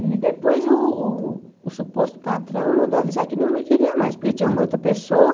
E depois uh o suposto patrão mandou avisar que não me queria mais, porque tinha uma outra pessoa.